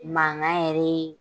Mankan yɛrɛ